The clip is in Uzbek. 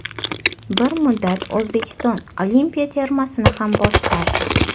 Bir muddat O‘zbekiston olimpiya termasini ham boshqardi.